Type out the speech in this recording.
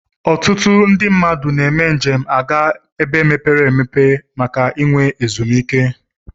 Ọtụtụ ndi mmadu na eme njem ga ebe mepere emepe ma enwe ezum ike.